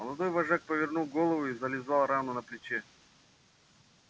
молодой вожак повернул голову и зализал рану на плече